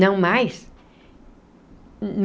Não mais.